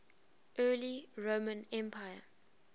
early roman empire